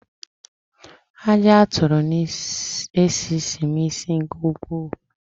Aji aturu n'esisi m isi nke ukwuu